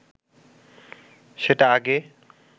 সেটা আগে